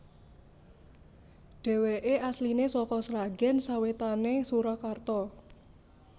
Dhèwèké asliné saka Sragèn sawétané Surakarta